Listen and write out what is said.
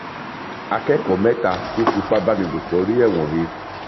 akẹkọọ mẹta tó fìpábánilòpọ rí ẹwọn he